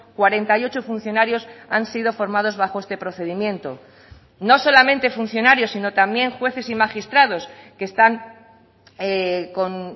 cuarenta y ocho funcionarios han sido formados bajo este procedimiento no solamente funcionarios sino también jueces y magistrados que están con